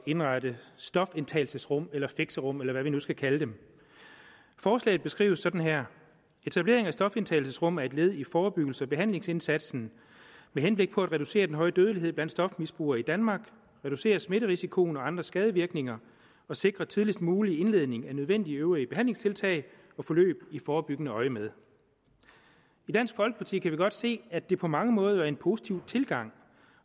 indrette stofindtagelsesrum eller fixerum eller hvad vi nu skal kalde dem forslaget beskrives sådan her etablering af stofindtagelsesrum er et led i forebyggelses og behandlingsindsatsen med henblik på at reducere den høje dødelighed blandt stofmisbrugere i danmark reducere smitterisikoen og andre skadevirkninger og sikre tidligst mulig indledning af nødvendige øvrige behandlingstiltag og forløb i forebyggende øjemed i dansk folkeparti kan vi godt se at det på mange måder vil være en positiv tilgang